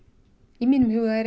í mínum huga er